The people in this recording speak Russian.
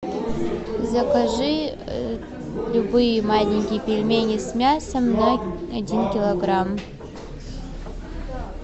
закажи любые маленькие пельмени с мясом на один килограмм